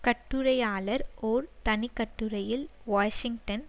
கட்டுரையாளர் ஒரு தனிக்கட்டுரையில் வாஷிங்டன்